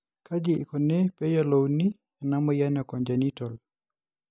Kaji ikoni pee eyiolouni ena amoyian e congenital?